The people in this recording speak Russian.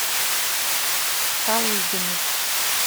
шалыгиной